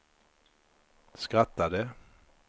skrattade